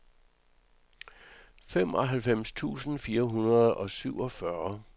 femoghalvtreds tusind fire hundrede og syvogfyrre